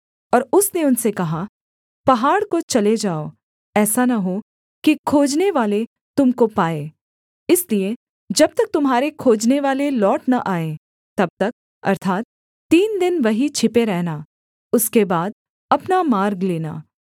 और उसने उनसे कहा पहाड़ को चले जाओ ऐसा न हो कि खोजनेवाले तुम को पाएँ इसलिए जब तक तुम्हारे खोजनेवाले लौट न आएँ तब तक अर्थात् तीन दिन वहीं छिपे रहना उसके बाद अपना मार्ग लेना